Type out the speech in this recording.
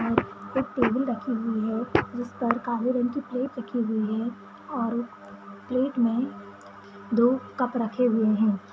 एक टेबल रखी हुई है जिस पर काले रंग की प्लेट रखी हुई है और प्लेट में दो कप रखे हुए हैं।